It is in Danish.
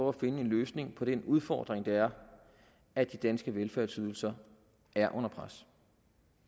at finde en løsning på den udfordring det er at de danske velfærdsydelser er under pres